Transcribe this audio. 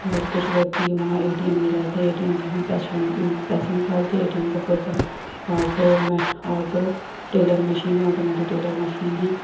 और कुछ व्यक्ति वहाँ एटीएम में जाते। एटीएम से हम पैसे निकालते। एटीएम का फुल फॉर्म ऑटो म ऑटो टेलर मशीन है। ऑटोमैटिक टेलर मशीन है।